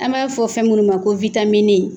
An m'a fɔ fɛn minnu ma ko witamini